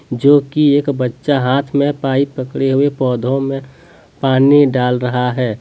जो की एक बच्चा हाथ में पाइप पकड़े हुए पौधों में पानी डाल रहा है।